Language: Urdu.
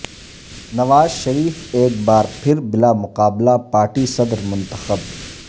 نواز شریف ایک بار پھر بلامقابلہ پارٹی صدر منتخب